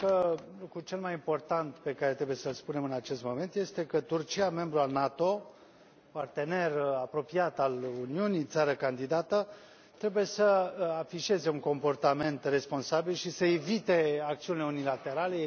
Cred că lucrul cel mai important pe care trebuie să l spunem în acest moment este că Turcia, membru al NATO, partener apropiat al Uniunii, țară candidată, trebuie să afișeze un comportament responsabil și să evite acțiunile unilaterale.